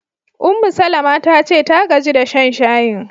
Ummu-Salama ta ce ta gaji da shan shayin.